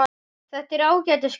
Þetta er ágætis grein.